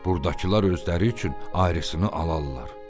Burdakılar özləri üçün ayrılsın alarlar."